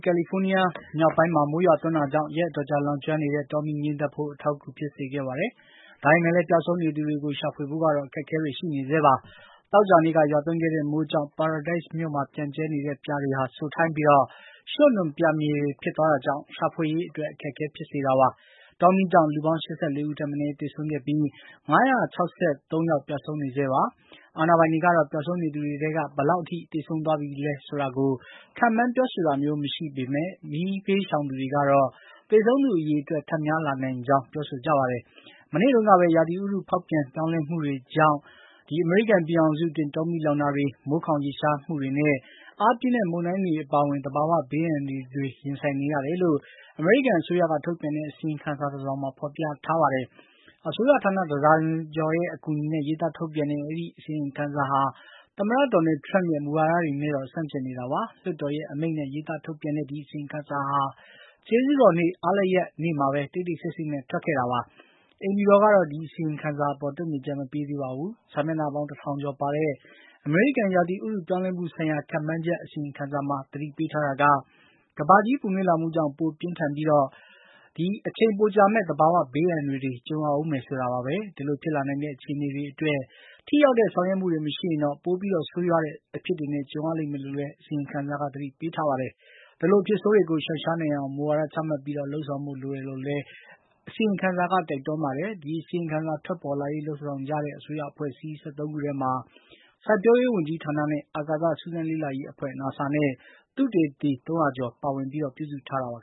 ကယ်လီဖိုးနီးယားမြောက်ပိုင်းမှာ မိုးရွာသွန်းတာကြောင့် ရက်အတော်ကြာ လောင်ကျွမ်းတဲ့ တောမီးငြိမ်းသတ်ဖို့ အထောက်အကူဖြစ်ခဲ့ပါတယ်။ ဒါပေမယ့်လည်း ပျောက်ဆုံးနေသူတွေကို ရှာဖွေဖို့ကတော့ အခက်အခဲတွေ ရှိနေဆဲပါ။ သောကြာနေ့က ရွာသွန်းခဲ့တဲ့မိုးကြောင့် Paradise မြို့မှာပျံ့ကြဲနေတဲ့ ပြာတွေဟာ စိုထိုင်းပြီး ရွှံ့နွံပြာမြေတွေဖြစ်သွားတာကြောင့် ရှာဖွေရေးအတွက် အခက်အဲဖြစ်စေခဲ့တာပါ။ တောမီးကြောင့် လူပေါင်း ၈၄ ဦးထက်မနည်း သေဆုံးခဲ့ပြီး ၅၆၃ ယောက် ပျောက်ဆုံးနေဆဲဖြစ်ပါတယ်။ အာဏာပိုင်တွေကတော့ ပျောက်ဆုံးနေသူတွေထဲက ဘယ်လောက်ထိ သေဆုံးသွားခဲ့ပြီလဲဆိုတာကို ခန့်မှန်းပြောဆိုတာမျိုးမရှိပေမယ့် မီးဘေးရှောင်တွေကတော့ သေဆုံးသူ အရေအတွက် ထပ်များ လာနိုင်ကြောင့် ပြောဆိုကြပါတယ်။ မနေ့တုန်းကပဲ ဥတုရာသီဖေါက်ပြန်ပြောင်းလဲမှုတွေရဲ့ဒဏ်ကြောင့် အမေရိကန်ပြည်ထောင်စု အတွင်း တောမီး လောင်တာတွေ၊ မိုးခေါင် ရေရှားမှုတွေနဲ့ အားပြင်းတဲ့မုန်တိုင်းတွေအပါအဝင် သဘာဝဘေး အန္တရာယ်တွေ ရင်ဆိုင်နေရတယ်လို့ အမေရိကန်အစိုးရ ကထုတ်ပြန်တဲ့ အစီရင်ခံစာ တစောင်မှာဖေါ်ပြထားပါတယ်။ အစိုးရဌာနတဒါဇင်ကျော်ရဲ့အကူအညီနဲ့ရေးသားထုတ်ပြန်တဲ့ အဲဒီအစီရင်ခံစာဟာ သမ္မတဒေါ်နလ်ထရမ့်ရဲ့ မူဝါဒတွေနဲ့တော့ ဆန့်ကျင်နေတာပါ။ လွှတ်တော်ရဲ့အမိန်နဲ့ရေးသား ထုတ်ပြန်ထားတဲ့ဒီအစီရင်ခံစာဟာ ကျေးဇူးတော်နေ့ အားလပ်ရပ်နေ့တွေမှာ တိတ်တိတ်ဆိတ်ဆိတ်နဲ့ ထွက်ခဲ့တာပါ။ အိမ်ဖြူတော်ကတော့ ဒီအစီရင်ခံစာအပေါ်တုံ့ပြန်ချက်မပေးသေးပါဘူး။ စာမျက်နှာပေါင်း တထောင်ကျော်ပါတဲ့ အမေရိကန် ရာသီဥတုပြောင်းလဲမှုဆိုင်ရာခန့်မှန်းချက် အစီရင်ခံစာမှာ သတိပေးထားတာက ကမ္ဘာကြီးပူနွေးလာ မှုကြောင့် ပိုပြင်းထန်ပြီး အချိန်ပိုကြာမယ့် သဘာဝဘေး အန္တရာယ်တွေကြုံရဦးမယ်ဆိုတာပါပဲ။ ဒီလိုဖြစ်လာနိုင်တဲ့အခြေအနေတွေအတွက် ထိရောက်တဲ့ဆောင်ရွက်မှုတွေမရှိရင်တော့ ပိုပြီး ဆိုးဝါးတဲ့အဖြစ်တွေ ကြုံ ရလိမ့်မယ်လို့လည်း အစီရင်ခံစာကသတိပေးထားပါတယ်။ ဒီလို အဖြစ်ဆိုးတွေကိုရှောင်ရှားနိုင်အောင် မူဝါဒချမှတ်ပြီး လုပ်ဆောင်ဖို့လိုတယ်လို့လည်း အစီရင်ခံစာက တိုက်တွန်းပါတယ်။ ဒီအစီရင်ခံစာထွက်ပေါ်လာရေးလုပ်ဆောင်ကြတဲ့ အစိုးရအဖွဲ့အစည်း ၁၃ ခုထဲမှာ စိုက်ပျိုးရေးဝန်ကြီးဌာနနဲ့ အာကာသစူးဆန်းလေ့လာရေးအဖွဲ့ NASA နဲ့ သုတေသီသုံးရာကျော်ပါဝင်ပြီး ပြုစုထားတာပါ